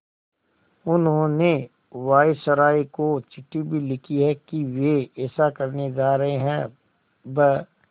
उन्होंने वायसरॉय को चिट्ठी भी लिखी है कि वे ऐसा करने जा रहे हैं ब्